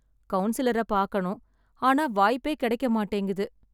கவுன்சிலரை பாக்கணும், ஆனா வாய்ப்பே கிடைக்க மாட்டேங்குது.